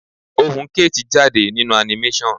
Ohùn kate jáde nínú animation.